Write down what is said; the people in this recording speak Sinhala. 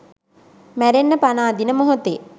මැරෙන්න පණ අදින මොහොතේ